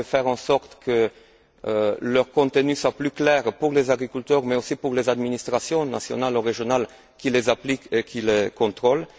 On peut faire en sorte que leur contenu soit plus clair pour les agriculteurs, mais aussi pour les administrations nationales ou régionales, qui les appliquent et qui les contrôlent.